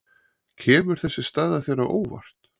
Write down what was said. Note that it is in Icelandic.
Kemur þessi staða þér á óvart?